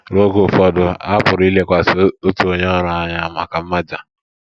Ruo oge ụfọdụ, a pụrụ ilekwasị otu onye ọrụ anya maka mmaja.